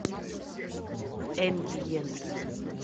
эмбиент